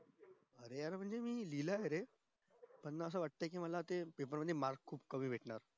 अरे यार मी लिहिलंय म्हणजे पण असं वाट कि अशे paper मध्ये मार्क्स खूप कमी भेटणार